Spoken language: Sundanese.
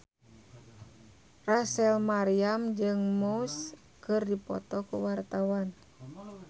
Rachel Maryam jeung Muse keur dipoto ku wartawan